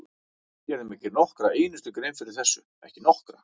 Ég gerði mér ekki nokkra einustu grein fyrir þessu, ekki nokkra!